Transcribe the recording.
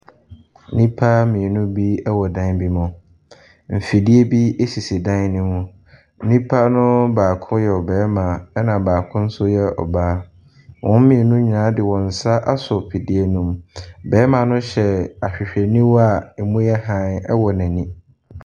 Nnipa mmienu bi wɔ dan bi mu. Mfidie bi sisi dan no mu. Nnipa no baako yɛ ɔbarima, ɛnna baako nso yɛ ɔbaa. Wɔn mmienu nyinaa de wɔn nsa asɔ afidie no mu. Barima no hyɛ ahwehwɛniwa a ɛmu yɛ hann wɔ n'ani.